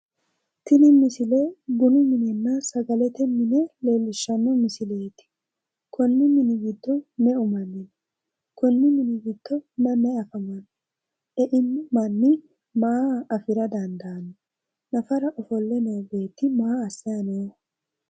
Tini misile bunu minenna sagalete mine leellishshanno misileeti. Konn mini giddo meu manni no? Konni mini giddo mayi mayi afamanno? Eino manni maa afira dandaanno? Nafara ofolle noo beetti maaassayi nooho?